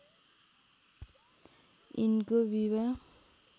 यिनको विवाह